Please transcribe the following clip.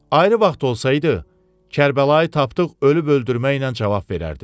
Ayrı vaxt olsaydı, Kərbəlayı tapdıq ölüb öldürməklə cavab verərdi.